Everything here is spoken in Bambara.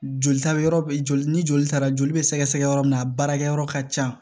Joli taa yɔrɔ bɛ joli ni joli taara joli bɛ sɛgɛsɛgɛ yɔrɔ min na a baarakɛyɔrɔ ka ca